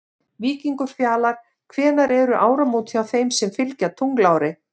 Víkingur Fjalar Hvenær eru áramót hjá þeim sem fylgja tunglári?